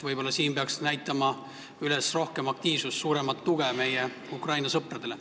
Võib-olla peaks näitama üles rohkem aktiivsust ja suuremat tuge meie Ukraina sõpradele.